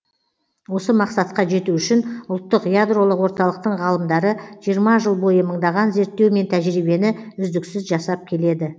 осы мақсатқа жету үшін ұлттық ядролық орталықтың ғалымдары жиырма жыл бойы мыңдаған зерттеу мен тәжірибені үздіксіз жасап келеді